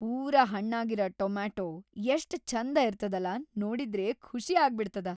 ಪೂರಾ ಹಣ್ಣಾಗಿರ ಟೊಮ್ಯಾಟೊ ಎಷ್ಟ್ ಛಂಧ ಇರ್ತದಲಾ ನೋಡಿದ್ರೇ ಖುಷ್‌ ಆಗ್ಬಿಡ್ತದ.